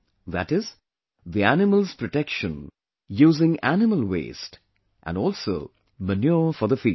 That is, the animals' protection using animal waste, and also manure for the fields